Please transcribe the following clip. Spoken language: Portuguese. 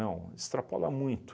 extrapola muito.